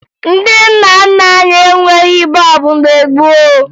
Ndị nna nna anyị enweghi bọọbụ mgbe gboo